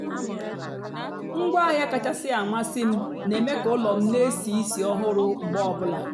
ngwaáahịa kachásị́ àmasị́ m na-èmé ka ụ́lọ́ m na-èsì ísì ọ́hụrụ́ mgbe ọ bùlà.